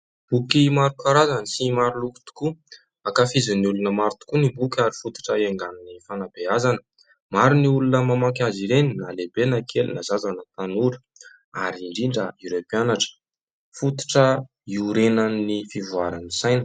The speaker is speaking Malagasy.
Boky maro karazany sy maroloko tokoa ; ankafizin'ny olona maro tokoa ny boky ary fototra hiaingan'ny fanabeazana. Maro ny olona mamaky azy ireny na lehibe na kely na zaza na tanora ary indrindra ireo mpianatra. Fototra iorenan'ny fivoaran'ny saina.